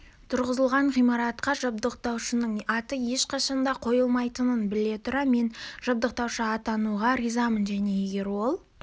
тұрғызылған ғимаратқа жабдықтаушының аты ешқашан да қойылмайтынын біле тұра мен жабдықтаушы атануға ризамын және егер ол